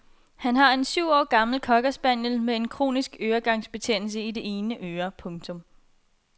Han har en syv år gammel cockerspaniel med en kronisk øregangsbetændelse i det ene øre. punktum